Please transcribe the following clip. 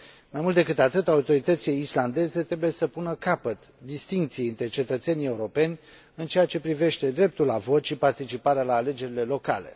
Mai mult decât atât, autoritățile islandeze trebuie să pună capăt distincției între cetățenii europeni în ceea ce privește dreptul la vot și participarea la alegerile locale.